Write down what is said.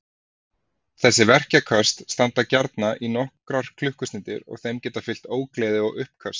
Þessi verkjaköst standa gjarna í nokkrar klukkustundir og þeim geta fylgt ógleði og uppköst.